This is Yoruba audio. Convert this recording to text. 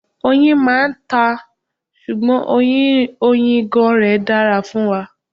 Oyin máa ń ta, ṣùgbọ́n oyin ìgàn rẹ dára fún wa.